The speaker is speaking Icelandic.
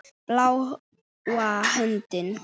Bláa höndin.